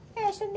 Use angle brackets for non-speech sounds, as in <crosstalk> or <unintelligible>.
<unintelligible> de...